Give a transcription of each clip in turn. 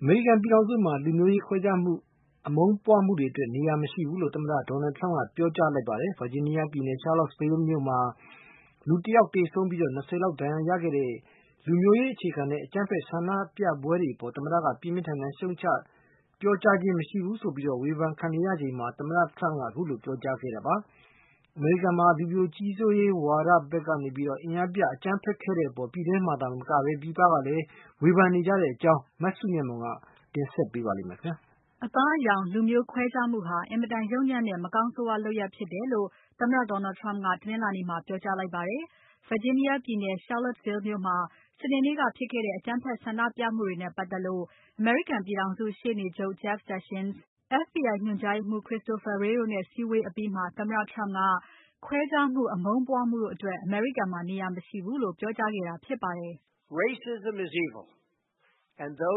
အမေရိကန်ပြည်ထောင်စုမှာ လူမျိုးရေးခွဲခြားမှု၊ အမုန်းပွားမှုတွေအတွက် နေရာမရှိဘူးလို့ သမ္မတ Donald Trump ကပြောကြားလိုက်ပါတယ်။ Virginia ပြည်နယ် Charlottesville မြို့မှာ ၁ ယောက်သေဆုံးပြီး ၂၀ လောက်ဒဏ်ရာရခဲ့တဲ့ လူမျိုးရေးအခြေခံတဲ့ အကြမ်းဖက်ဆန္ဒပြပွဲတွေအပေါ် သမ္မတက ပြင်းပြင်းထန်ထန် ရှုံ့ချပြောကြားခြင်းမရှိဘူးလို့ ဝေဖန်ခံနေရချိန်မှာ သမ္မတ Trump ကခုလိုပြောကြားခဲ့တာပါ။ အမေရိကန်မှာ လူဖြူကြီးစိုးရေးဝါဒီတွေဖက်က အင်အားပြ အကြမ်းဖက်ခဲ့တဲ့အပေါ် ပြည်တွင်းမှာသာမက ပြည်ပကလည်း ဝေဖန်နေကြတဲ့အကြောင်း မစုမြတ်မွန်က ဆက်ပြီးတင်ပြပါမယ်။ အသားအရောင်။ လူမျိုးခွဲခြားမှုဟာ အင်မတန်ယုတ်ညံ့တဲ့ မကောင်းဆိုးဝါးလုပ်ရပ်ဖြစ်တယ်လို့ သမ္မတ Donald Trump က တနင်္လာနေ့မှာ ပြောကြားလိုက်ပါတယ်။ Virginia ပြည်နယ် Charlottesville မြို့မှာ စနေနေ့ကဖြစ်ခဲ့တဲ့ အကြမ်းဖက်ဆန္ဒပြမှုတွေနဲ့ပါတ်သက်လို့ အမေရိကန်ပြည်ထောင်စု ရှေ့နေချုပ် Jeff Sessions FBI ညွှန်ကြားရေးမှူး Christopher Wray တို့နဲ့စည်းဝေးအပြီး သမ္မတ Trump က ခွဲခြားမှု။ အမုန်းပွားမှုတို့အတွက် အမေရိကန်မှာ နေရာမရှိဘူးလို့ ပြောကြားခဲ့တာဖြစ်ပါတယ်။ "အသား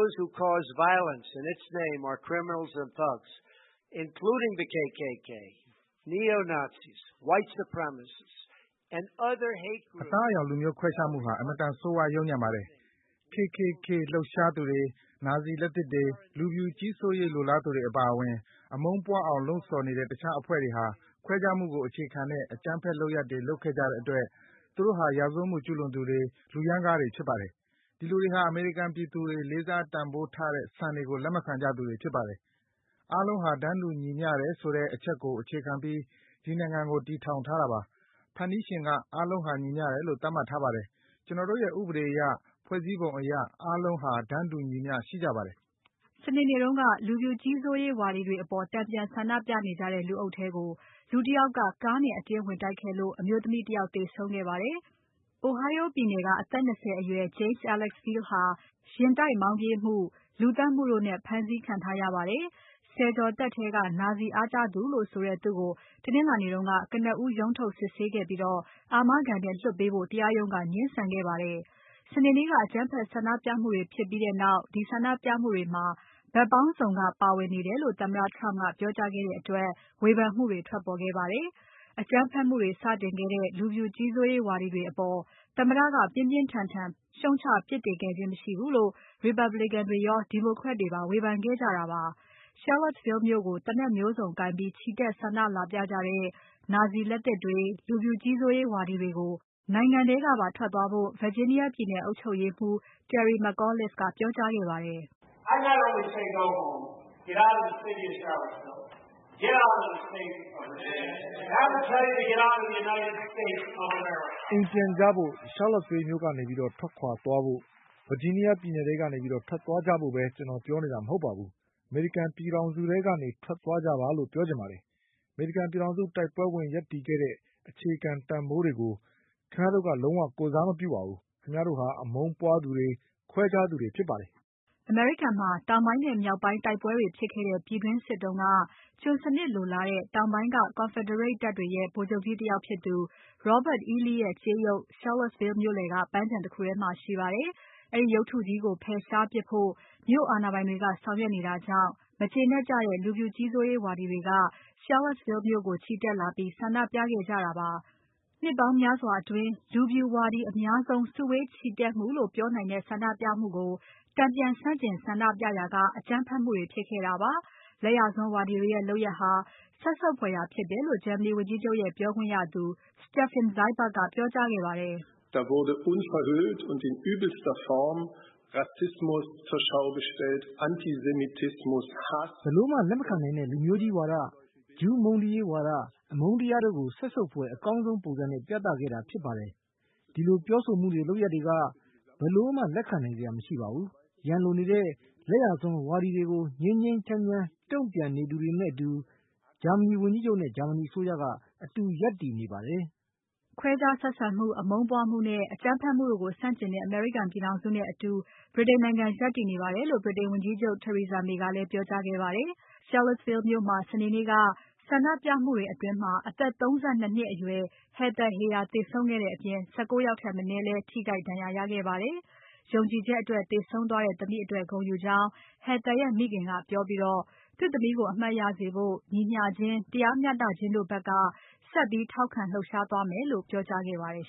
အရောင် လူမျိုးခွဲခြားမှုဟာ အင်မတန်ဆိုးဝါးယုတ်ညံ့ပါတယ်။ KKK လှုပ်ရှားသူတွေ။ နာဇီလက်သစ်တွေ။ လူဖြူကြီးစိုးရေး လိုလားသူတွေအပါအဝင် အမုန်းပွားအောင်လှုံ့ဆောင်နေတဲ့တခြားအဖွဲ့တွေဟာ ခွဲခြားမှုကိုအခြေခံတဲ့ အကြမ်းဖက်လုပ်ရပ်တွေလုပ်ခဲ့ကြတဲ့အတွက် သူတို့ဟာ ရာဇဝတ်မှုကျူးလွန်သူတွေ၊ လူရမ်းကားတွေဖြစ်ပါတယ်။ ဒီလူတွေဟာ အမေရိကန်ပြည်သူတွေ လေးစားတန်ဖိုးထားတဲ့စံတွေကို လက်မခံကြသူတွေဖြစ်ပါတယ်။ အားလုံးဟာ တန်းတူညီမျှတယ်ဆိုတဲ့ အချက်ကိုအခြေခံပြီး ဒီနိုင်ငံကို တည်ထောင်ထားတာပါ။ ဖန်တီးရှင်က အားလုံးဟာ ညီမျှတယ်လို့ သတ်မှတ်ထားပါတယ်။ ကျွန်တော်တို့ရဲ့ ဥပဒေအရ ဖွဲ့စည်းပုံအရ အားလုံးဟာတန်းတူညီမျှမှုရှိကြပါတယ်။" စနေနေ့တုန်းက လူဖြူကြီးစိုးရေးဝါဒီတွေအပေါ် တန်ပြန်ဆန္ဒပြကြနေကြတဲ့ လူအုပ်ထဲကို လူတယောက်က ကားနဲ့အတင်းဝင်တိုက်ခဲ့လို့ အမျိုးသမီးတယောက်သေဆုံးခဲ့ရပါတယ်။ Ohio ပြည်နယ်က အသက် ၂၀ အရွယ် James Alex Field ဟာယဉ်တိုက်မောင်ပြေးမှု။ လူသတ်မှုတို့နဲ့ ဖမ်းဆီးခံထားရပါတယ်။ ဆယ်ကျော်သက်ထဲက နာဇီအားကျသူလို့ဆိုတဲ့ သူ့ကို တနင်္လာနေ့က ကနဦးရုံးထုတ်စစ်ဆေးခဲ့ပြီး အာမခံနဲ့လွှတ်ပေးဖို့ တရားရုံးက ငြင်းဆန်ခဲ့ပါတယ်။ စနေနေ့က အကြမ်းဖက် ဆန္ဒပြမှုတွေ ဖြစ်ပြီးနောက် ဒီဆန္ဒပြမှုတွေမှာ ဘက်ပေါင်းစုံက ပါဝင်နေတယ်လို့ သမ္မတ Trump ကပြောကြားခဲ့တဲ့အတွက် ဝေဖန်မှုတွေ ထွက်ပေါ်ခဲ့ပါတယ်။ အကြမ်းဖက်မှုတွေ စတင်ခဲ့တဲ့ လူဖြူကြီးစိုးရေးဝါဒီတွေအပေါ် သမ္မတက ပြင်းပြင်းထန်ထန် ရှုံ့ချပြစ်တင်ခဲ့ခြင်းမရှိဘူးလို့ Republican တွေရော Democrat တွေပါ ဝေဖန်ခဲ့ကြတာပါ။ Charlottesville မြို့ကို သေနတ်မျိုးစုံကိုင်ပြီး ချီတက်ဆန္ဒလာပြကြတဲ့ နာဇီလက်သစ်တွေ။ လူဖြူကြီးစိုးရေးဝါဒီတွေကို နိုင်ငံထဲကပါ ထွက်သွားဖို့ Virginia ပြည်နယ် အုပ်ချုပ်ရေးမှူး Terry McAuliffe ကပြောကြားခဲ့ပါတယ်။ "အိမ်ပြန်သွားကြဖို့။ Charlottesville မြို့ထဲကနေ ထွက်သွားဖို့ Virginia ပြည်နယ်ထဲကနေထွက်သွားကြဖို့ပဲ ကျွန်တော်ပြောနေတာမဟုတ်ပါဘူး။အမေရိကန်ပြည်ထောင်စုထဲကနေ ထွက်သွားကြပါလို့ ပြောချင်ပါတယ်။ အမေရိကန်ပြည်ထောင်စု တိုက်ပွဲဝင် ရပ်တည်ခဲ့တဲ့ အခြေခံတန်ဖိုးတွေကို ခင်ဗျားတို့က လုံးဝ ကိုယ်စားမပြုပါဘူး။ ခင်ဗျားတို့ဟာ အမုန်းပွားသူတွေ။ ခွဲခြားသူတွေဖြစ်ပါတယ်။" အမေရိကန်မှာ တောင်ပိုင်းနဲ့မြောက်ပိုင်းတိုက်ပွဲဖြစ်ခဲ့တဲ့ ပြည်တွင်းစစ်တုန်းက ကျွန်စနစ်လိုလားတဲ့ တောင်ပိုင်းက Confederate တပ်တွေရဲ့ ဗိုလ်ချုပ်ကြီးတယောက်ဖြစ်သူ Robert E. Lee ရဲ့ကြေးရုပ်တု Charlottesville မြို့လည်က ပန်းခြံကြီးတခုထဲမှာရှိပါတယ်။ အဲဒီရုပ်တုကြီးကို ဖယ်ရှားပစ်ဖို့ မြို့အာဏာပိုင်တွေကဆောင်ရွက်နေတာ ကြောင့် မကျေနပ်ကြတဲ့ လူဖြူကြီးစိုးရေးဝါဒီတွေက Charlottesville မြို့ကို ချီတက်လာပြီး ဆန္ဒပြခဲ့ကြတာပါ။ နှစ်ပေါင်းများစွာအတွင်း လူဖြူဝါဒီအများဆုံး စုဝေးချီတက်မှုလို့ ပြောနိုင်တဲ့ ဆန္ဒပြပွဲကို တန်ပြန်ဆန့်ကျင်ဆန္ဒပြကြရာက အကြမ်းဖက်မှုတွေဖြစ်ခဲ့တာပါ။ လက်ယာစွန်းဝါဒီတွေရဲ့လုပ်ရပ်ဟာ စက်ဆုပ်ဖွယ်ရာဖြစ်တယ်လို့ ဂျာမနီဝန်ကြီးချုပ်ရဲ့ ပြောခွင့်ရသူ Steffen Seibert (Zai bert) ကပြောကြားခဲ့ပါတယ်။ "ဘယ်လိုမှ လက်မခံနိုင်တဲ့ လူမျိုးကြီးဝါဒ။ ဂျုးမုန်းတီးရေးဝါဒ။ အမုန်းတရားတို့ကို စက်ဆုပ်ဖွယ်အကောင်းဆုံးပုံစံနဲ့ ပြသခဲ့တာဖြစ်ပါတယ်။ ဒီလိုပြောဆိုမှုတွေ။ လုပ်ရပ်တွေက ဘယ်လိုမှလက်ခံနိုင်စရာ မရှိပါဘူး။ ရန်လိုနေတဲ့ လက်ယာစွန်းဝါဒီတွေကို ငြိမ်းငြိမ်းချမ်းချမ်း တုံ့ပြန်နေသူတွေနဲ့အတူ ဂျာမနီဝန်ကြီးချုပ်နဲ့ ဂျာမနီအစိုးရက အတူရပ်တည်နေပါတယ်။" ခွဲခြားဆက်ဆံမှု။ အမုန်းပွားမှုနဲ့ အကြမ်းဖက်မှုတို့ကိုဆန့်ကျင်တဲ့ အမေရိကန်ပြည်ထောင်စုနဲ့အတူ ဗြိတိန်နိုင်ငံရပ်တည်နေပါတယ်လို့ ဗြိတိန်ဝန်ကြီးချုပ် Theresa May ကလည်းပြောကြားခဲ့ပါတယ်။ Charlottesville မြို့မှာ စနေနေ့က ဆန္ဒပြမှုတွေအတွင်း အသက် ၃၂ နှစ်အရွယ် Heather Heyer သေဆုံးခဲ့တဲ့အပြင် ၁၉ ယောက်ထက်မနည်းလည်း ထိခိုက်ဒဏ်ရာရခဲ့ပါတယ်။ ယုံကြည်ချက်အတွက်သေဆုံးသွားတဲ့သမီးအတွက် ဂုဏ်ယူကြောင်း Heather ရဲ့မိခင်က ပြောပြီး သူ့သမီးကို အမှတ်ရစေဖို့ ညီမျှခြင်း တရားမျှတခြင်းတို့ဖက်က ဆက်ပြီးထောက်ခံလှုပ်ရှားသွားမယ်လို့ ပြောကြားခဲ့ပါတယ်